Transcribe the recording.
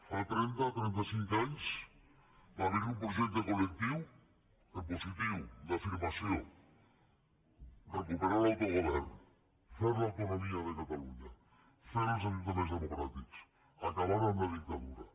fa trenta trenta cinc anys va haver hi un projecte col·lectiu en positiu d’afirmació recuperar l’autogovern fer l’autonomia de catalunya fer els ajuntaments democràtics acabar amb la dictadura